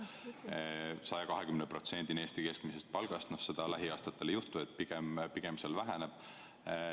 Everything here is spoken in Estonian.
Seda ei tõsteta 120%-ni võrreldes Eesti keskmise palgaga, seda lähiaastatel ei juhtu, pigem see väheneb.